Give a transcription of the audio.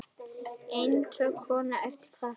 Einstök kona hefur kvatt.